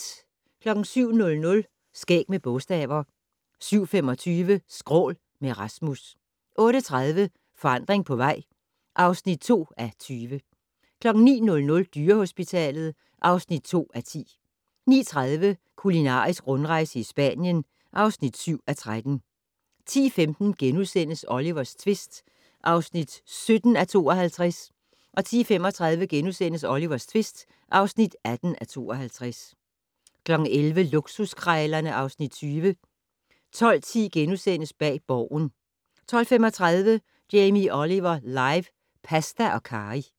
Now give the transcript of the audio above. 07:00: Skæg med bogstaver 07:25: Skrål - med Rasmus 08:30: Forandring på vej (2:20) 09:00: Dyrehospitalet (2:10) 09:30: Kulinarisk rundrejse i Spanien (7:13) 10:15: Olivers tvist (17:52)* 10:35: Olivers tvist (18:52)* 11:00: Luksuskrejlerne (Afs. 20) 12:10: Bag Borgen * 12:35: Jamie Oliver live - pasta og karry